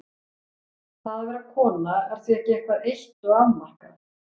Það að vera kona er því ekki eitthvað eitt og afmarkað.